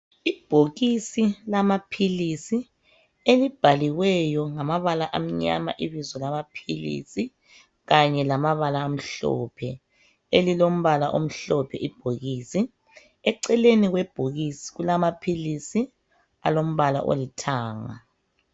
Ibhokisi lamaphilisi elibhaliweyo ngamabala amnyama ibizo lamaphilisi kanye lamabala amhlophe, elilombala omhlophe ibhokisi. Eceleni kwebhokisi kulamaphilisi alombala olithanga.